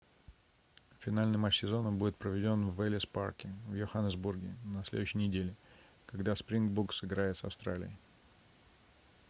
финальный матч сезона будет проведён в эллис парке в йоханесбурге на следующей неделе когда springboks сыграет с австралией